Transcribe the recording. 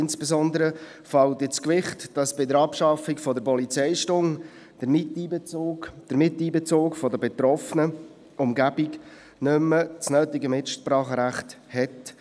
Insbesondere fällt ins Gewicht, dass bei der Abschaffung der Polizeistunde der Miteinbezug der betroffenen Umgebung nicht mehr die nötige Mitsprache hat.